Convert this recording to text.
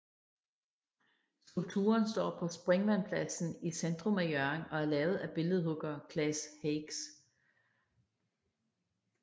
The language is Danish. Skulpturen står på Springvandspladsen i centrum af Hjørring og er lavet af billedhugger Claes Hakes